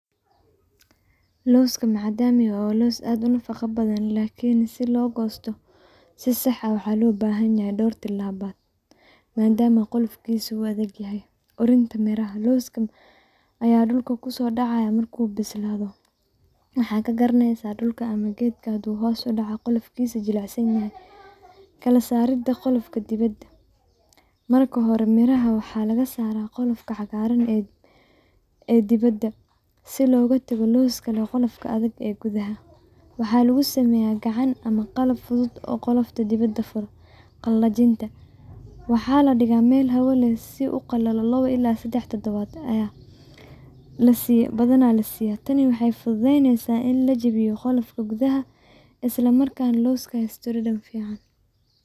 Looska macadamia waa loos aad unafaqa badan lakini si loo gosto, si sax ah wuxuu ubahan yahay dhor tilaba maadama qolofkisa uu adagyahay, orinta miraha, looskan aya dhulka kusoodacaya marku bislado, waxa ka garaneysa dhulka ama gedka hadu hos udhaca qolofkiisa jilacsan yahay, kala saarida qolofka dibad, marka hore miraha waxaa laga saara qolofka cagaaran ee diba si loga tago looskan qolofka adag ee gudaha, waxaa lugu sameeya gacan ama qalab fudud oo qolofka dibada furo, qalajinta, waxa ladhiga Mel hawa leh si u uqalalo labo ila sedex tadabad, badan lasiya, tani waxay fududeyneysa ini lajebiyo qolofka gudaha isla markana looska la asturo si fican